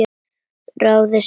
Þáði sorg þína.